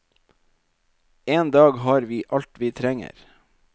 En dag har vi alt vi trenger.